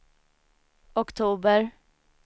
oktober